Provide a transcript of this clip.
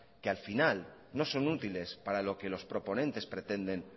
que al final no son útiles para lo que los proponentes pretenden